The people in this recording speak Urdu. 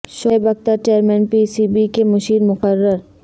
Shoaib Akhtar chairman P C B کے مشیر مقرر